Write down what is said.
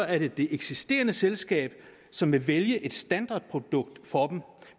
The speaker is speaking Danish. er det det eksisterende selskab som vil vælge et standardprodukt for